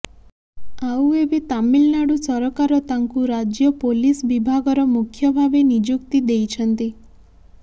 ଆଉ ଏବେ ତାମିଲନାଡୁ ସରକାର ତାଙ୍କୁ ରାଜ୍ୟ ପୋଲିସ ବିଭାଗର ମୁଖ୍ୟ ଭାବେ ନିଯୁକ୍ତି ଦେଇଛନ୍ତି